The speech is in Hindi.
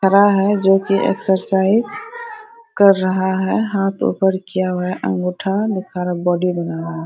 खड़ा है जो की एक्सरसाइज कर रहा है हाथ ऊपर किया हुआ है अंगूठा दिखा रहा है बॉडी बना रहा है।